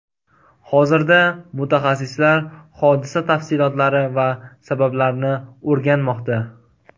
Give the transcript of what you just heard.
Hozirda mutaxassislar hodisa tafsilotlari va sabablarini o‘rganmoqda.